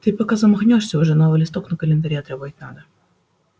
ты пока замахнёшься уже новый листок на календаре отрывать надо